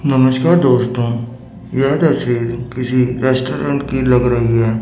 नमस्कार दोस्तों यह तस्वीर किसी रेस्टोरेंट की लग रही है।